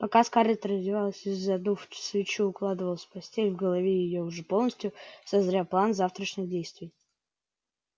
пока скарлетт раздевалась и задув свечу укладывалась в постель в голове её уже полностью созрел план завтрашних действий